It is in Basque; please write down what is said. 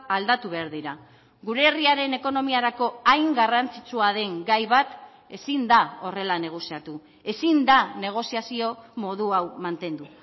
aldatu behar dira gure herriaren ekonomiarako hain garrantzitsua den gai bat ezin da horrela negoziatu ezin da negoziazio modu hau mantendu